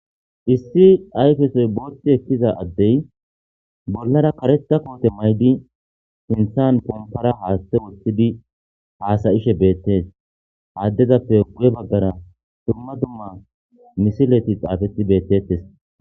issi ayfesoy bootht ekkiza addey bollara kareta koote maydi sinthan pompara haatthe woththidi haasayishe beettes aaddezappe guye baggara dumma dumma misileti xaafeti beettettes